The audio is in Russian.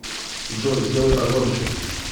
джой сделай погромче